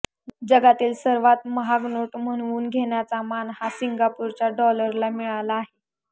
जगातील सर्वात महाग नोट म्हणवून घेण्याचा मान हा सिंगापूरच्या डॉलरला मिळाला आहे